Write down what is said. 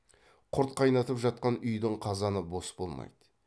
құрт қайнатып жатқан үйдің қазаны бос болмайды